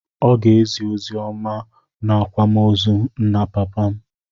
Ọ ga-ezi oziọma n'akwamozu nna papa m.